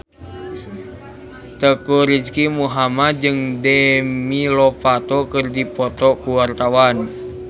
Teuku Rizky Muhammad jeung Demi Lovato keur dipoto ku wartawan